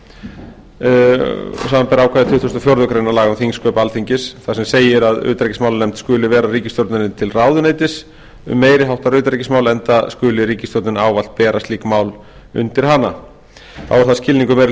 grein laga um þingsköp alþingis þar sem segir að utanríkismálanefnd skuli vera ríkisstjórninni til ráðuneytis um meiri háttar utanríkismál enda skuli ríkisstjórnin ávallt bera slík mál undir hana þá er það skilningur meiri